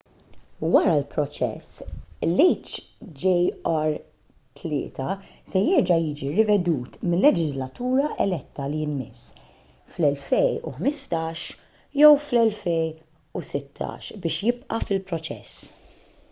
wara l-proċess l-hjr-3 se jerġa’ jiġi rivedut mil-leġiżlatura eletta li jmiss fl-2015 jew fl-2016 biex jibqa’ fil-proċess